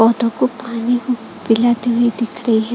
पौधों को पानी को पिलाते हुए दिख रही है।